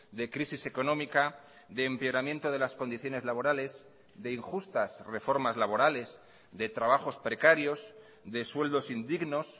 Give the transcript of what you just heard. de crisis económica de empeoramiento de las condiciones laborales de injustas reformas laborales de trabajos precarios de sueldos indignos